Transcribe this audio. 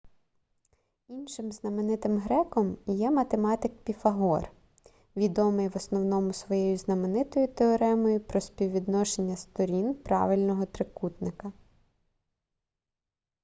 іншим знаменитим греком є ​​математик піфагор відомий в основному своєю знаменитою теоремою про співвідношення сторін правильного трикутника